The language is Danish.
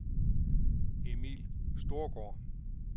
Emil Storgaard